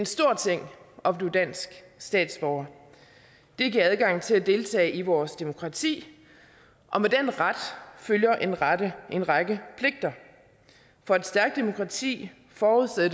stor ting at blive dansk statsborger det giver adgang til at deltage i vores demokrati og med den ret følger en række en række pligter for et stærkt demokrati forudsætter